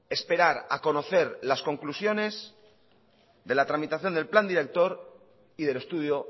esperar a conocer las conclusiones de la tramitación del plan director y del estudio